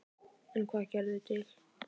En hvað gerði það til?